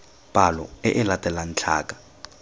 palo e e latelang tlhaka